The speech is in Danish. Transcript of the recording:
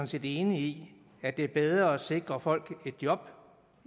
set enige i at det er bedre at sikre folk et job